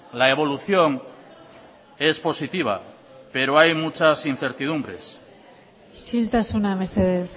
la evolución es positiva pero hay muchas incertidumbres isiltasuna mesedez